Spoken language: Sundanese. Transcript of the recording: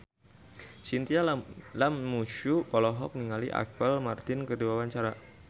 Chintya Lamusu olohok ningali Apple Martin keur diwawancara